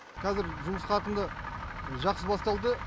қазір жұмыс қарқынды жақсы басталды